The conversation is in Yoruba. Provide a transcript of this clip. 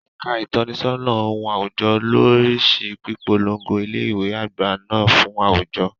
Ẹ̀ka ìtọ́nisọ́nà ohun àwùjọ ló ń rí sí pípolongo ilé ìwé àgbà náà fún àwùjọ.